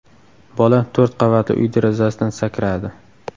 Bola to‘rt qavatli uy derazasidan sakradi.